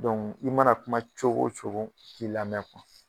i mana kuma cogo o cogo te lamɛn